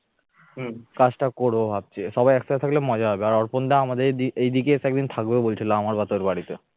কাজটা করব ভাবছি সবাই একসাথে থাকলে মজা হবে। আর অর্পণ দা আমাদের এদিকে এদিকে এসে একদিন থাকবে বলছিল। আমারবাতের বাড়িতে